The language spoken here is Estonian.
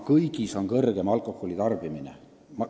Kõigis oli suurem alkoholi tarbimine.